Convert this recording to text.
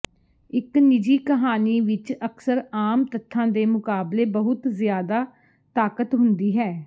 ਇੱਕ ਨਿੱਜੀ ਕਹਾਣੀ ਵਿੱਚ ਅਕਸਰ ਆਮ ਤੱਥਾਂ ਦੇ ਮੁਕਾਬਲੇ ਬਹੁਤ ਜ਼ਿਆਦਾ ਤਾਕਤ ਹੁੰਦੀ ਹੈ